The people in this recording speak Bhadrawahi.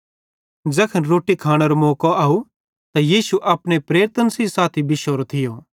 ज़ैखन रोट्टी खानेरो मौको अव त यीशु अपने प्रेरितन सेइं साथी बिश्शोरे थिये